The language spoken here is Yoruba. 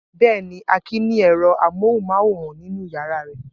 Bẹ́ẹ̀ ni, Akin ní ẹ̀rọ amóhùmáwòhán nínú ìyàrá rẹ̀.